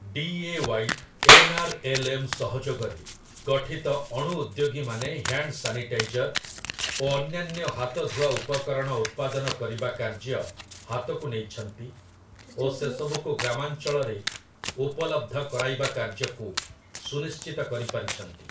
D. A. Y. N. R. L. M. ସହଯୋଗରେ ଗଠିତ ଅଣୁ-ଉଦ୍ୟୋଗୀମାନେ ହ୍ୟାଣ୍ଡ୍ ସାନିଟାଇଜର୍ ଓ ଅନ୍ୟାନ୍ୟ ହାତଧୁଆ ଉପକରଣ ଉତ୍ପାଦନ କରିବା କାର୍ଯ୍ୟ ହାତକୁ ନେଇଛନ୍ତି ଓ ସେସବୁକୁ ଗ୍ରାମାଞ୍ଚଳରେ ଉପଲବ୍ଧ କରାଇବା କାର୍ଯ୍ୟକୁ ସୁନିଶ୍ଚିତ କରିପାରିଛନ୍ତି ।